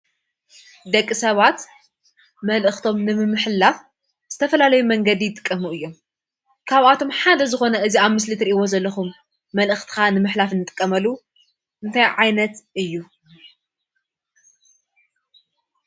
ደቂ ሰባት መልእኽቶም ንምምሕልላፍ ዝተፈላላዩ መንገዲ ይጥቀሙ እዮም። ካብ ኣቶም ሓደ ዝኾነ እዚ ኣብ ምስል እትርኢዎ ዘለኹም መልእኽትኻ ንምሕላፍ ንጥቀመሉ እንታይ ዓይነት እዩ?